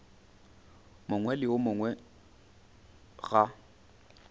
mongwe le yo mongwe ga